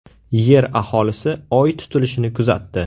Yer aholisi Oy tutilishini kuzatdi.